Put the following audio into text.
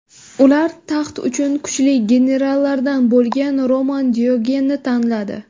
Ular taxt uchun kuchli generallardan bo‘lgan Roman Diogenni tanladi.